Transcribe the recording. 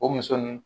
O muso nin